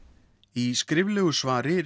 í skriflegu svari